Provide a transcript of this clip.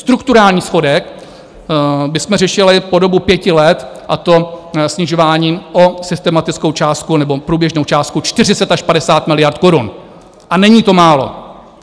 Strukturální schodek bychom řešili po dobu pěti let, a to snižováním o systematickou částku nebo průběžnou částku 40 až 50 miliard korun, a není to málo.